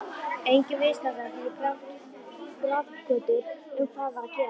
Enginn viðstaddra fór í grafgötur um hvað var að gerast.